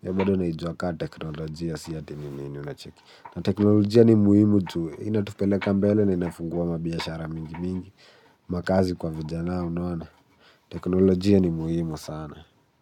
Hiyo bado naijua kama teknolojia si ati nini, unacheki. Na teknolojia ni muhimu juu inatupeleka mbele na inafungua mabiashara mingi mingi. Makazi kwa vijanaa. Unaona? Teknolojia ni muhimu sana.